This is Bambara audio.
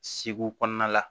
Segu kɔnɔna la